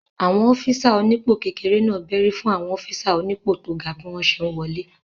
Àwọn ọ́físà rẹ̀ onípò kékeré náà bẹ́rí fún àwọn ọ́físà onípò tó ga bí wọ́n ṣe n wọlé